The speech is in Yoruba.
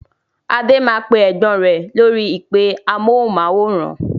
Adé máa pè Ẹ̀gbọ́n rẹ lórí "ìpè amohùn-máwórán".